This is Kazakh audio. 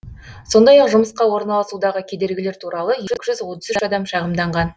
сондай ақ жұмысқа орналасудағы кедергілер туралы екі жүз отыз үш адам шағымданған